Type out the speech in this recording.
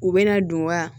U bɛna don wa